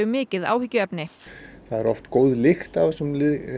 mikið áhyggjuefni það er oft góð lykt af þessum